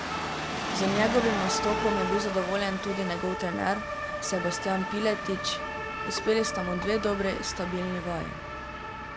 Z njegovim nastopom je bil zadovoljen tudi njegov trener Sebastijan Piletič: 'Uspeli sta mu dve dobri, stabilni vaji.